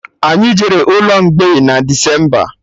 Anyị jere ụlọ mgbei na Decemba